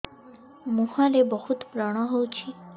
ମୁଁହରେ ବହୁତ ବ୍ରଣ ହଉଛି